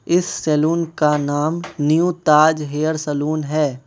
इस सलून का नाम न्यू ताज हेयर सलून है।